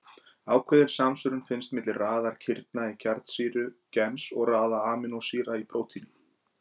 Ákveðin samsvörun fannst milli raðar kirna í kjarnsýru gens og raðar amínósýra í prótíni.